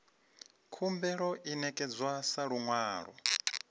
khumbelo i ṋekedzwa sa luṅwalo